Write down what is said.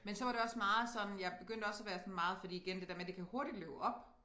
Men så var det også meget sådan jeg begyndte også at være sådan meget fordi igen det der med det kan hurtigt løbe op